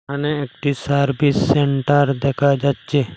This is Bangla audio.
আনে একটি সার্ভিস সেন্টার দেখা যাচ্ছে।